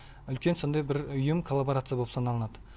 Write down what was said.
үлкен сондай бір ұйым коллаборация болып саналынады